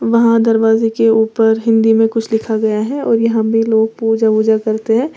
वहां दरवाजे के ऊपर हिंदी में कुछ लिखा गया है और यहां वे लोग पूजा उजा करते हैं।